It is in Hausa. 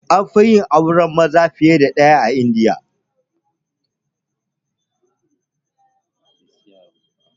Anfi yin auren maza fiye da ɗaya a India